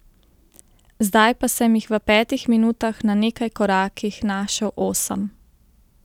Zdaj pa sem jih v petih minutah na nekaj korakih našel osem!